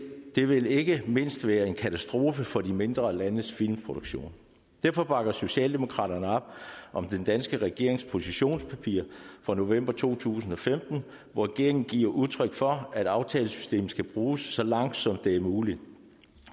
det vil ikke mindst være en katastrofe for de mindre landes filmproduktion derfor bakker socialdemokraterne op om den danske regerings positionspapir fra november to tusind og femten hvor regeringen giver udtryk for at aftalesystemet skal bruges så langt som det er muligt